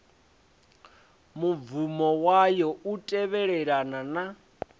mubvumo wayo u tevhelelana na